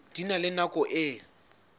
di na le nako e